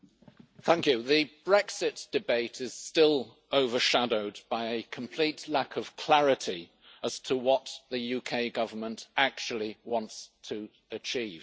Mr President, the Brexit debate is still overshadowed by a complete lack of clarity as to what the UK Government actually wants to achieve.